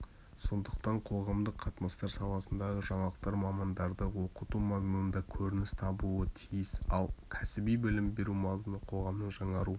сондықтан қоғамдық қатынастар саласындағы жаңалықтар мамандарды оқыту мазмұнында көрініс табуы тиіс ал кәсіби білім беру мазмұны қоғамның жаңару